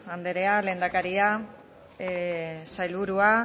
andrea lehendakaria sailburua